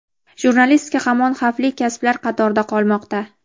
jurnalistika hamon xavfli kasblar qatorida qolmoqda.